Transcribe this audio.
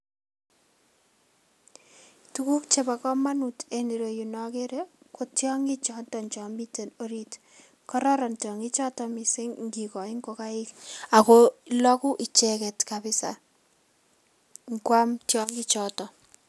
Tuguk chebo komonut en ireyu nokere ko tiong'ik choton chomite orit , kororon tiong'ikchoton missing' ingikoi ngokaik ago logu icheket kabisa inguam tiong'ikchoton.